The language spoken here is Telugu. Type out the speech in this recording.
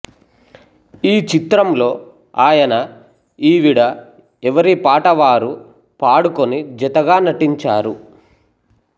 ఈ చిత్రంలో ఆయన ఈవిడ ఎవరిపాట వారు పాడుకుని జతగా నటించారు